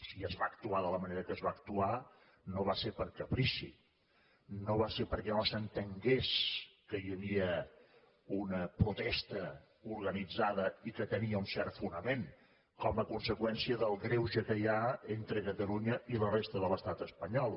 si es va actuar de la manera que es va actuar no va ser per caprici no va ser perquè no s’entengués que hi havia una protesta organitzada i que tenia un cert fonament com a conseqüència del greuge que hi ha entre catalunya i la resta de l’estat espanyol